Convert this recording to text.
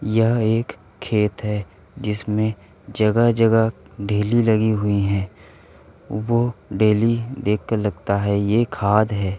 यह एक खेत है जिसमें जगह-जगह ढेली लगी हुई है। वो ढेली देखकर लगता है ये खाद है।